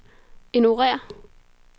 ignorér